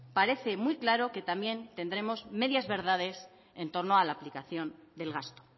parece muy claro que también tendremos medias verdades en torno a la aplicación del gasto